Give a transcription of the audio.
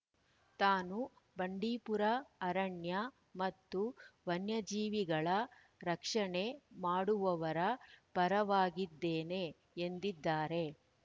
ತಾನು ಬಂಡೀಪುರ ಅರಣ್ಯ ಮತ್ತು ವನ್ಯಜೀವಿಗಳ ರಕ್ಷಣೆ ಮಾಡುವವರ ಪರವಾಗಿದ್ದೇನೆ ಎಂದಿದ್ದಾರೆ